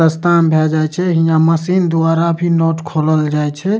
सस्ता में भै जाए छे हियां मशीन दुबारा भी नट खोलल जाए छे।